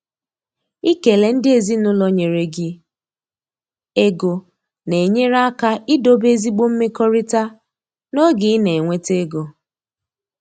Ikele ndị ezinụlọ nyere gi ego na-enyere aka idobe ezigbo mmekọrịta n’oge ị na-enweta ego.